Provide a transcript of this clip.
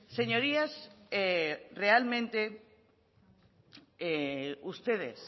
señorías realmente ustedes